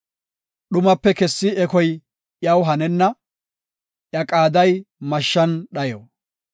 Dhumape kessi ekoy iyaw hanenna; iya qaaday mashshan dhayo.